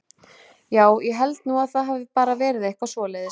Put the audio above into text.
Já, ég held nú að það hafi bara verið eitthvað svoleiðis.